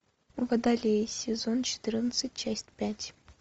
водолей сезон четырнадцать часть пять